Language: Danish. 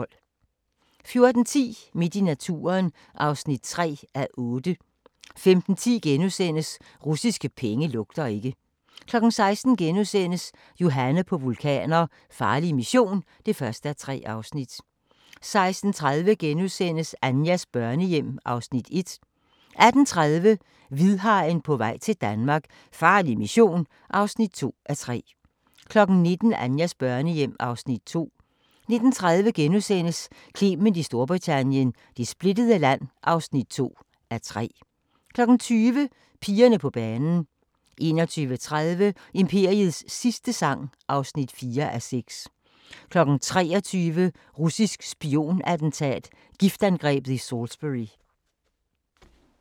14:10: Midt i naturen (3:8) 15:10: Russiske penge lugter ikke * 16:00: Johanne på vulkaner – farlig mission (1:3)* 16:30: Anjas børnehjem (Afs. 1)* 18:30: Hvidhajen på vej til Danmark - farlig mission (2:3) 19:00: Anjas børnehjem (Afs. 2) 19:30: Clement i Storbritannien - det splittede land (2:3)* 20:00: Pigerne på banen 21:30: Imperiets sidste sang (4:6) 23:00: Russisk spion-attentat: Giftangrebet i Salisbury